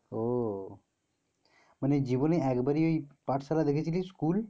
ও মানে জীবনে ওই একবারি ওই পাটশালা দেখেছিলি school